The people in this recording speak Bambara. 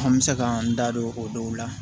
An bɛ se ka an da don o dɔw la